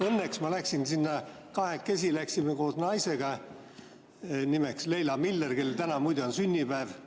Õnneks me läksime sinna kahekesi, läksin koos naisega, nimeks Leila Miller, kellel täna muide on sünnipäev.